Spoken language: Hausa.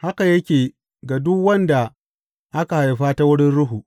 Haka yake ga duk wanda aka haifa ta wurin Ruhu.